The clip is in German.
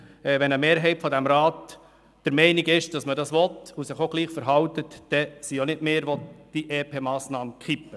Wenn eine Mehrheit dieses Rats der Meinung ist, dass wir das wollen und sich auch entsprechend verhält, sind nicht wir diejenigen, welche die EP-Massnahme kippen.